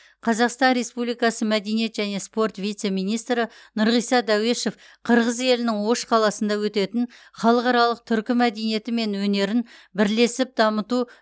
қазақстан республикасы мәдениет және спорт вице министрі нұрғиса дәуешов қырғыз елінің ош қаласында өтетін халықаралық түркі мәдениеті мен өнерін бірлесіп дамыту